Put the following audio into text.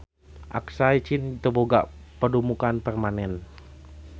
Aksai Chin teu boga padumukan permanen.